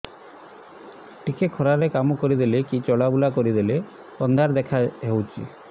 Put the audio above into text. ଟିକେ ଖରା ରେ କାମ କରିଦେଲେ କି ଚଲବୁଲା କରିଦେଲେ ଅନ୍ଧାର ଦେଖା ହଉଚି